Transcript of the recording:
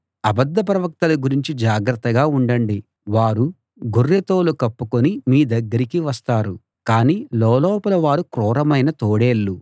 అబద్ధ ప్రవక్తల గురించి జాగ్రత్తగా ఉండండి వారు గొర్రె తోలు కప్పుకుని మీ దగ్గరికి వస్తారు కాని లోలోపల వారు క్రూరమైన తోడేళ్ళు